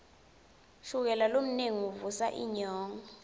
shukela lomnengi uvusa inyongo